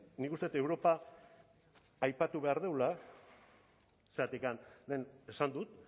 nik uste dut europa aipatu behar dugula zergatik lehen esan dut